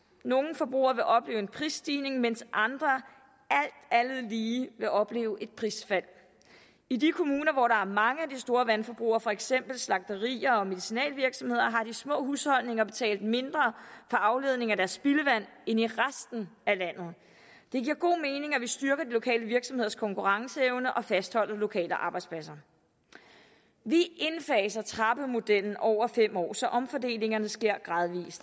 nogle forbrugere vil opleve en prisstigning mens andre alt andet lige vil opleve et prisfald i de kommuner hvor der er mange af de store vandforbrugere for eksempel slagterier og medicinalvirksomheder har de små husholdninger betalt mindre for afledning af deres spildevand end i resten af landet det giver god mening at vi styrker de lokale virksomheders konkurrenceevne og fastholder lokale arbejdspladser vi indfaser trappemodellen over fem år så omfordelingerne sker gradvis